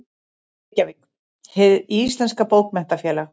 Reykjavík: Hið íslenska Bókmenntafélag.